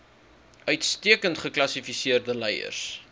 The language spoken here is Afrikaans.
uitstekend gekwalifiseerde leiers